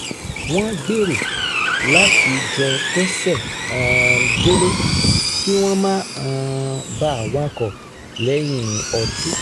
wọ́n gbèrò láti jọ ké̩sè̩ um délé kí wọ́n má um bàa wakọ̀ lè̩yìn o̩tí